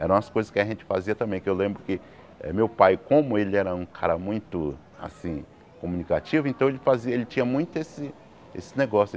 Eram as coisas que a gente fazia também, que eu lembro que eh meu pai, como ele era um cara muito, assim, comunicativo, então ele fazia, ele tinha muito esse esse negócio.